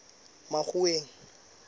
makgoweng